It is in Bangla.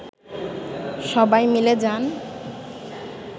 সবাই মিলে যান